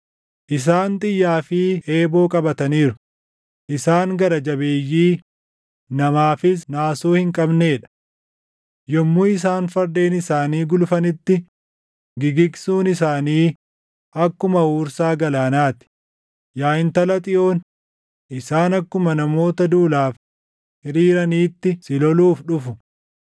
Isaan xiyyaa fi eeboo qabataniiru; isaan gara jabeeyyii, namaafis naasuu hin qabnee dha. Yommuu isaan fardeen isaanii gulufanitti gigigsuun isaanii akkuma huursaa galaanaa ti; yaa Intala Xiyoon, isaan akkuma namoota duulaaf hiriiraniitti si loluuf dhufu.”